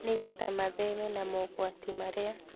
nĩgetha metheme na mogwati marĩa